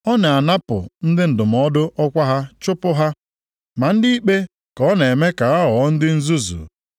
Ọ na-anapụ ndị ndụmọdụ ọkwa ha chụpụ ha, ma ndị ikpe ka ọ na-eme ka ha ghọọ ndị nzuzu.